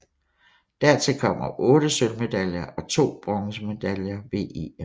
Dertil kommer 8 sølvmedaljer og 2 bronzemedaljer ved EM